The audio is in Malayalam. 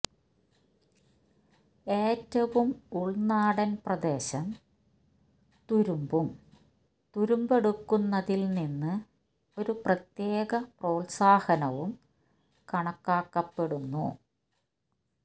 ഏറ്റവും ഉൾനാടൻ പ്രദേശം തുരുമ്പും തുരുമ്പെടുക്കുന്നതിൽ നിന്ന് ഒരു പ്രത്യേക പ്രോൽസാഹനവും കണക്കാക്കപ്പെടുന്നു